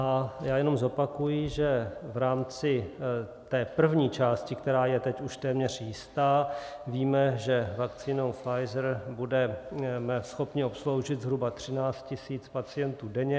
A já jenom zopakuji, že v rámci té první části, která je teď už téměř jistá, víme, že vakcínou Pfizer budeme schopni obsloužit zhruba 13 tisíc pacientů denně.